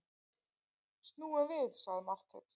Snúum við, sagði Marteinn.